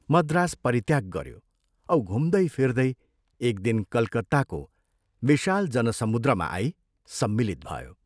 मद्रास परित्याग गयो औ घुम्दै फिर्दै एक दिन कलकत्ताको विशाल जनसमुद्रमा आई सम्मिलित भयो।